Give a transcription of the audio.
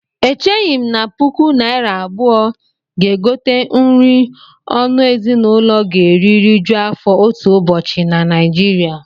Echeghị m na puku naira abụọ ga-egote nri ọnụ ezinụlọ ga-eri rijuo afọ otu ụbọchị na Naịjiria